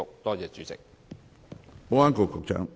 多謝主席。